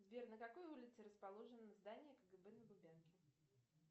сбер на какой улице расположено здание кгб на лубянке